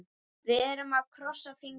Við erum að krossa fingur.